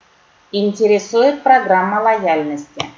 интересует программа лояльности